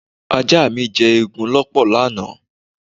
Ajá mi jẹ́ eegun lọ́pọ̀ lánàá.